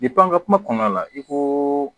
an ka kuma kɔnɔna la i ko